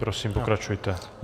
Prosím, pokračujte.